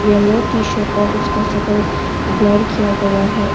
Yellow T shirt और उसकी शक्ल ब्लर किया गया है।